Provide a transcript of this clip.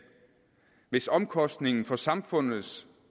hvis omkostningen for samfundets